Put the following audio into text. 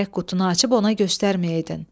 Gərək qutunu açıb ona göstərməyəydin.